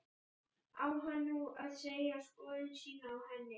Á hann nú að segja skoðun sína á henni?